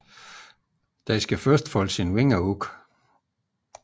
Den skal først folde sine vinger ud